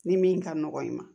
Ni min ka nɔgɔ i ma